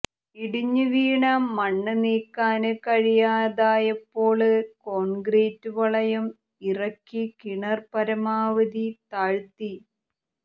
ഇടിഞ്ഞുവീണ മണ്ണ് നീക്കാന് കഴിയാതായപ്പോള് കോണ്ക്രീറ്റ് വളയം ഇറക്കി കിണര് പരമാവധി താഴ്ത്തി